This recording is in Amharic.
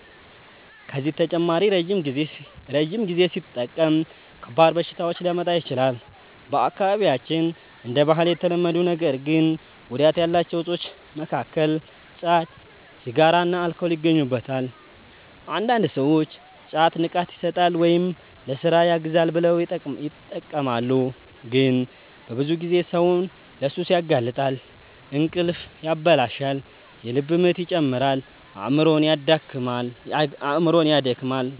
ከዚህ በተጨማሪ ረጅም ጊዜ ሲጠቀም ከባድ በሽታዎች ሊያመጣ ይችላል። በአካባቢያችን እንደ ባህል የተለመዱ ነገር ግን ጉዳት ያላቸው እፆች መካከል ጫት፣ ሲጋራና አልኮል ይገኙበታል። አንዳንድ ሰዎች ጫት “ንቃት ይሰጣል” ወይም “ለሥራ ያግዛል” ብለው ይጠቀማሉ፣ ግን በብዙ ጊዜ ሰውን ለሱስ ያጋልጣል። እንቅልፍ ያበላሻል፣ የልብ ምት ይጨምራል፣ አእምሮንም ያደክማል።